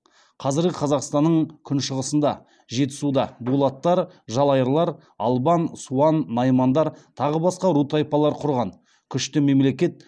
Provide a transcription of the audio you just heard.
қазіргі қазақстанның күншығысында жетісуда дулаттар жалайырлар албан суан наймандар тағы басқа ру тайпалар құрған күшті мемлекет